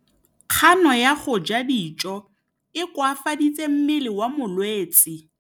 Kganô ya go ja dijo e koafaditse mmele wa molwetse.